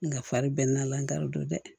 Nga fari bɛ n'a la n t'o dɔn dɛ